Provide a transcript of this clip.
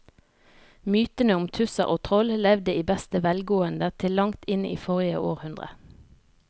Mytene om tusser og troll levde i beste velgående til langt inn i forrige århundre.